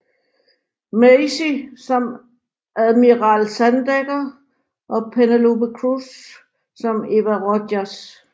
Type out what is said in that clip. Macy som Admiral Sandecker og Penélope Cruz som Eva Rojas